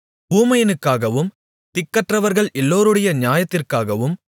ஊமையனுக்காகவும் திக்கற்றவர்கள் எல்லோருடைய நியாயத்திற்காகவும் உன்னுடைய வாயைத் திற